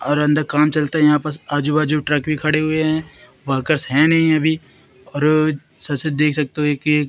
और अंदर काम चलता यहां पास आजू बाजू ट्रक भी खड़े हुए हैं वर्कर्स है नहीं अभी और साथ साथ देख सकते हो कि--